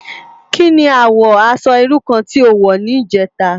Ki ni àwò aṣò irú kàn ti ó wò nijètá?